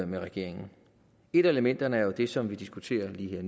med regeringen et af elementerne er jo det som vi diskuterer lige her